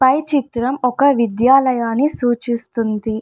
పై చిత్రం ఒక విద్యాలయాన్ని సూచిస్తుంది --